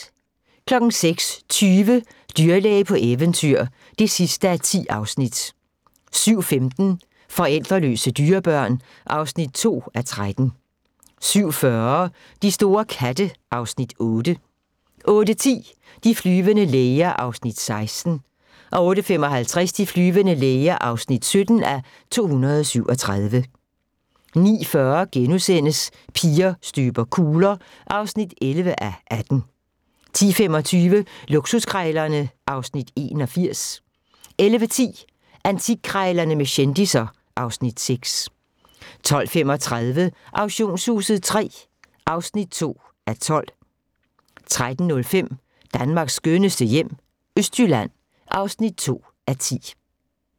06:20: Dyrlæge på eventyr (10:10) 07:15: Forældreløse dyrebørn (2:13) 07:40: De store katte (Afs. 8) 08:10: De flyvende læger (16:237) 08:55: De flyvende læger (17:237) 09:40: Piger støber kugler (11:18)* 10:25: Luksuskrejlerne (Afs. 81) 11:10: Antikkrejlerne med kendisser (Afs. 6) 12:35: Auktionshuset III (2:12) 13:05: Danmarks skønneste hjem - Østjylland (2:10)